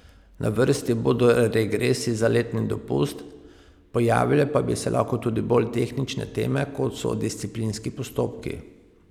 Na vrsti bodo regresi za letni dopust, pojavile pa bi se lahko tudi bolj tehnične teme, kot so disciplinski postopki.